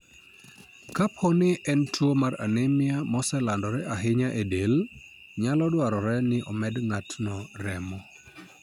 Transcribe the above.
Kapo ni en tuwo mar anemia moselandore ahinya e del, nyalo dwarore ni omed ng'ato remo.